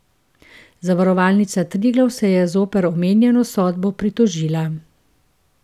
Zavarovalnica Triglav se je zoper omenjeno sodbo pritožila.